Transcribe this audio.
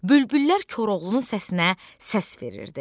Bülbüllər Koroğlunun səsinə səs verirdi.